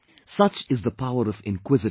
Such is the power of inquisitiveness